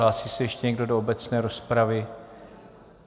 Hlásí se ještě někdo do obecné rozpravy?